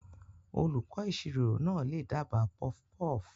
Olùkọ́ ìṣirò náà lè dábàá puffpuff.